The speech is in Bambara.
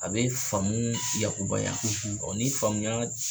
A be faamu yakubaya , ɔɔ ni faamuya